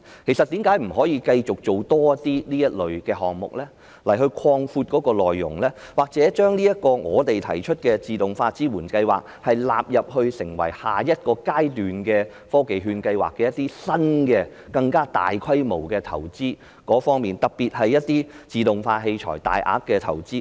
其實為甚麼不繼續推出更多這類項目，擴闊其內容，又或把我們提出的自動化支援計劃納入成為下一個階段的科技券計劃，資助更新及更大規模的投資，特別是自動化器材的大額投資？